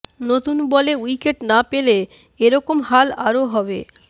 নতুন বলে উইকেট না পেলে এ রকম হাল আরও হবে